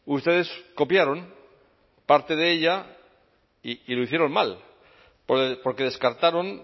ustedes copiaron parte de ella y lo hicieron mal porque descartaron